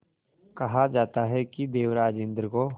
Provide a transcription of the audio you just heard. कहा जाता है कि देवराज इंद्र को